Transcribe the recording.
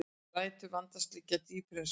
Rætur vandans liggja dýpra en svo